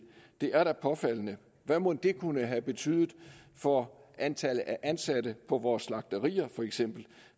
det er da påfaldende hvad mon det kunne have betydet for antallet af ansatte på vores slagterier feks